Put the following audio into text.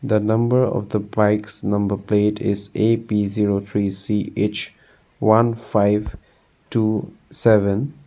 The number of the bike number plate is AP zero three CH one five two seven.